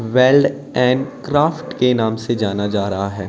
Weld and craft के नाम से जाना जा रहा है।